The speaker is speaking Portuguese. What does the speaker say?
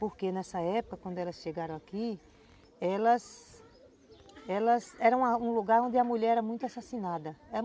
Porque nessa época, quando elas chegaram aqui, elas... Elas... Era um lugar onde a mulher era muito assassinada.